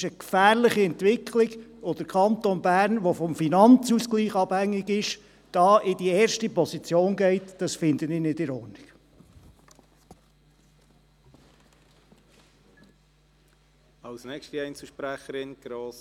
Das ist eine gefährliche Entwicklung, und dass der Kanton Bern, der vom Finanzausgleich abhängig ist, hier in die erste Position geht, finde ich nicht in Ordnung.